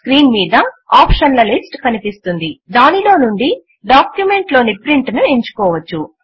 screen మీద option ల list కనిపిస్తుంది దానిలో నుండి డాక్యుమెంట్ లోని ప్రింట్ ను ఎంచుకోవచ్చు